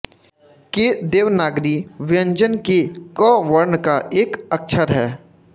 के देवनागरी व्यंजन के क वर्ण का एक अक्षर है